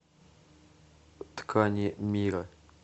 ткани мира